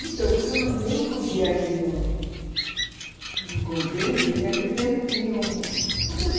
Então, porque eu não não podia ir no no convento e naquele tempo tinha um